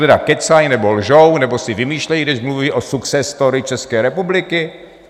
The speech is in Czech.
Tedy kecají nebo lžou nebo si vymýšlejí, když mluví o success story České republiky?